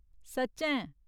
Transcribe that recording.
सच्चैं !?